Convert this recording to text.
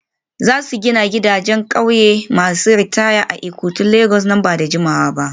Za su gina ƙauyen masu ritaya a Ikotun Legas nan ba da jimawa ba.